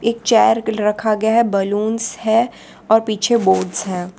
एक चेयर रखा गया हैं बैलून है और पीछे बोर्ड है।